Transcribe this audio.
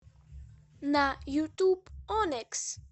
на ютуб оникс